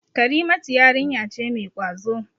Karimatu yarinya ce mai ƙwazo.